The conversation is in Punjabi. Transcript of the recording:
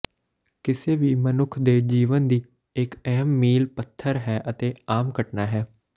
ਕਿਸੇ ਵੀ ਮਨੁੱਖ ਦੇ ਜੀਵਨ ਦੀ ਇੱਕ ਅਹਿਮ ਮੀਲ ਪੱਥਰ ਹੈ ਅਤੇ ਆਮ ਘਟਨਾ ਹੈ